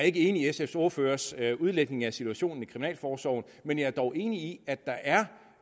ikke enig i sfs ordførers udlægning af situationen i kriminalforsorgen men jeg er dog enig i at der er